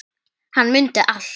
Og hann mundi allt.